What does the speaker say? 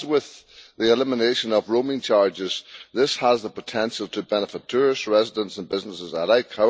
As with the elimination of roaming charges, this has the potential to benefit tourists, residents and businesses alike.